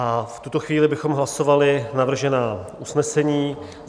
A v tuto chvíli bychom hlasovali navržená usnesení.